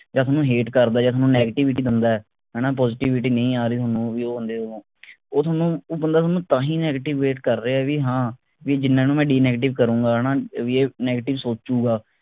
ਜਾਂ ਥੋਨੂੰ hate ਕਰਦੇ ਜਾਂ ਥੋਨੂੰ negativity ਦਿੰਦੇ ਹਣਾ positivity ਨਹੀਂ ਆ ਰਹੀ ਥੋਨੂੰ ਉਹ ਬੰਦੇ ਕੋਲੋਂ ਉਹ ਥੋਨੂੰ ਉਹ ਬੰਦਾ ਥੋਨੂੰ ਤਾਂ ਹੀ negativate ਕਰ ਰਿਹੇ ਵੀ ਹਾਂ ਜਿੰਨਾ ਨੂੰ ਮੈਂ denegative ਕਰੂੰਗਾ ਹਣਾ ਵੀ ਇਹ negative ਸੋਚੂਗਾ